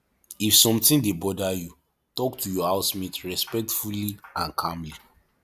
if something dey bother you talk to your housemate respectfully and calmly